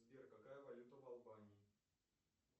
сбер какая валюта в албании